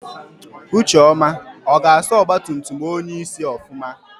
Ucheọma ọ ga-asa ọgbatumtum onyeisi ofụma?